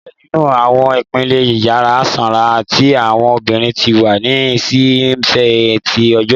Ni diẹ ninu awọn ipinle, Iyara sanra ti awọn obirin ti wa ni ṣi nṣe till ọjọ.